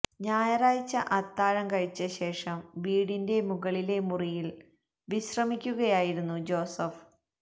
ഞായറാഴ്ച അത്താഴം കഴിച്ച ശേഷം വീടിന്റെ മുകളിലെ മുറിയില് വിശ്രമിക്കുകയായിരുന്നു ജോസഫ്